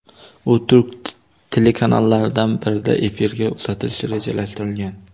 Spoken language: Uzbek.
U turk telekanallaridan birida efirga uzatilishi rejalashtirilgan.